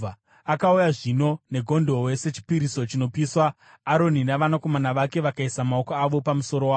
Akauya zvino negondobwe sechipiriso chinopiswa, Aroni navanakomana vake vakaisa maoko avo pamusoro waro.